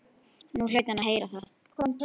Nú hlaut hann að heyra það!